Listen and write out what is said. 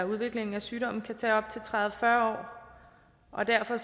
udviklingen af sygdommen kan tage op til tredive til fyrre år og derfor